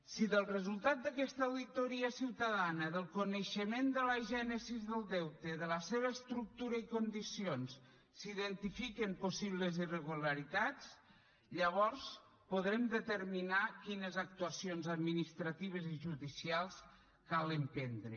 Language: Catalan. si del resultat d’aquesta auditoria ciutadana del coneixement de la gènesi del deute de la seva estructura i condicions s’identifiquen possibles irregularitats llavors podrem determinar quines actuacions administratives i judicials cal emprendre